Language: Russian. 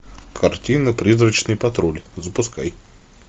картина призрачный патруль запускай